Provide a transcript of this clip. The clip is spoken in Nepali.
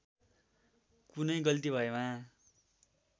कुनै गल्ती भएमा